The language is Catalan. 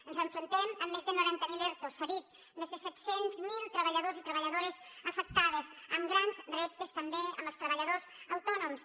ens enfrontem a més de noranta mil ertos s’ha dit més de set cents miler treballadors i treballadores afectades amb grans reptes també amb els treballadors autònoms